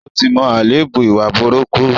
Ó ti mọ àléébù ìwà burúkú.